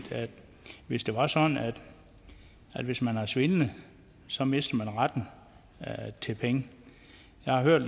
hvis det var sådan at hvis man har svindlet så mister man retten til penge jeg har hørt